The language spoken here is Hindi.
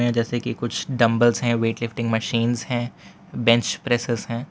जैसे के कुछ डंबल्स हैं वेट लिफ्टिंग मशीनस है बेंच प्रेसेज है।